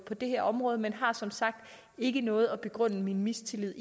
det her område men har som sagt ikke noget at begrunde min mistillid